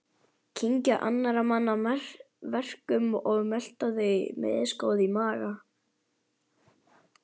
Kyngja annarra manna verkum og melta þau, misgóð í maga.